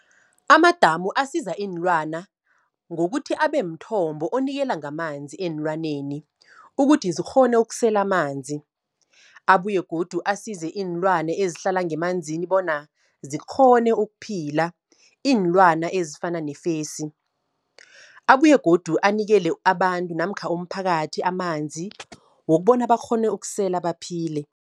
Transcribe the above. Amadamu asiza iinlwana, ngokuthi abemthombo onikela ngamanzi eenlwaneni, ukuthi zikghone ukusela amanzi. Abuye godu asize iinlwana ezihlala ngemanzini bona, zikghone ukuphila, iinlwana ezifana nefesi. Abuye godu anikele abantu, namkha umphakathi amanzi, wokubona bakghone ukusela baphile.